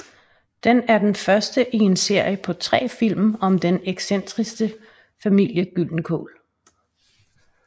Den er den første i en serie på tre film om den excentriske familien Gyldenkål